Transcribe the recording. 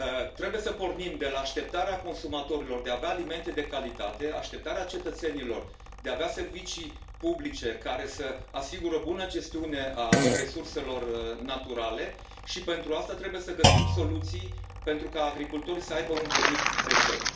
Trebuie, așadar, să pornim de la așteptarea consumatorilor de a avea alimente de calitate, așteptarea cetățenilor de a avea servicii publice care să asigure buna gestiune a resurselor naturale și pentru asta trebuie să găsim soluții astfel încât agricultorii să aibă un venit decent.